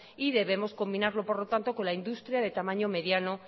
y debemos combinarlo por lo tanto con la industria de tamaño mediano